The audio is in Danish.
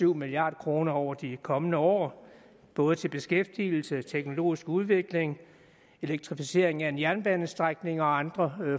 milliard kroner over de kommende år både til beskæftigelse teknologisk udvikling elektrificering af en jernbanestrækning og andre